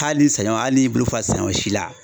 Hali saɲɔ hali n'i y'i bolo fa saɲɔ si la